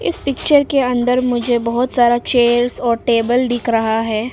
Picture के अंदर मुझे बहोत सारा चेयर्स और टेबल दिख रहा है।